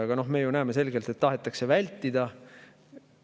Aga me ju näeme selgelt, et seda tahetakse vältida.